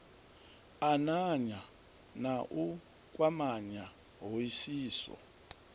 ananya na u kwamanya hoisiso